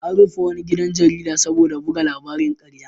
An rufe wani gidan jarida saboda buga labarin ƙarya.